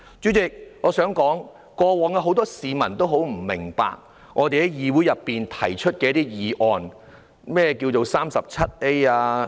主席，過往很多市民也不明白我們在議會內提出的一些議案的目的。